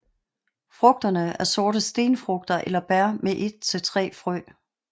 Frugterne er sorte stenfrugter eller bær med et til tre frø